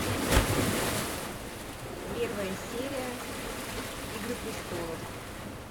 первая серия игры престолов